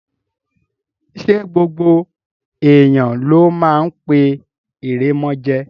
Ṣé gbogbo èèyàn ló máa ń pé ìrèmọ̀jé?